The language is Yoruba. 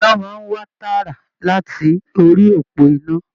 Iná máa n wá tààrà láti orí òpó iná.